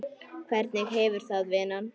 Hvernig hefurðu það, vinan?